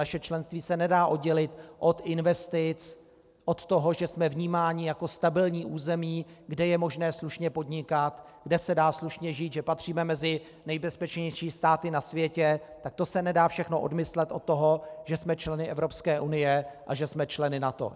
Naše členství se nedá oddělit od investic, od toho, že jsme vnímáni jako stabilní území, kde je možné slušně podnikat, kde se dá slušně žít, že patříme mezi nejbezpečnější státy na světě, tak to se nedá všechno odmyslet od toho, že jsme členy Evropské unie a že jsme členy NATO.